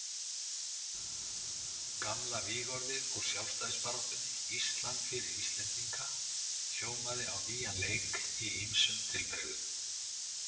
Gamla vígorðið úr sjálfstæðisbaráttunni, Ísland fyrir Íslendinga, hljómaði á nýjan leik í ýmsum tilbrigðum.